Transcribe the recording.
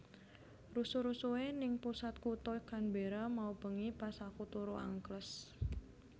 Rusuh rusuhe ning pusat kuto Canberra mau bengi pas aku turu angkles